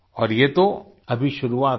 और ये तो अभी शुरुआत है